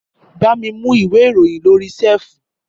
Bàmí mú ìwé ìròyìn lórí séèfù